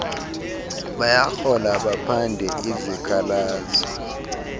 bayahlola baphande izikhalazo